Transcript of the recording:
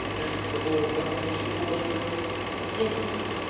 Ik denk bijvoorbeeld aan Commissievoorzitter Juncker.